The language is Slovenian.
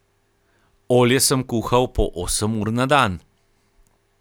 Olje sem kuhal po osem ur na dan.